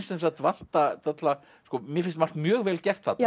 sem sagt vanta dálitla mér finnst margt mjög vel gert þarna